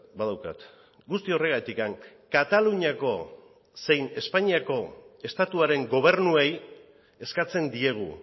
badaukat guzti horregatik kataluniako zein espainiako estatuaren gobernuei eskatzen diegu